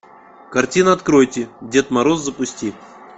картина откройте дед мороз запусти